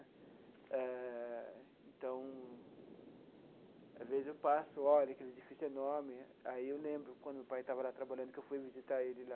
Eh então às vezes eu passo e olho aquele edifício enorme, aí eu lembro, quando meu pai estava lá trabalhando, que eu fui visitar ele lá.